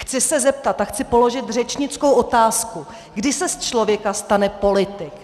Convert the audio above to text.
Chci se zeptat a chci položit řečnickou otázku: Kdy se z člověka stane politik?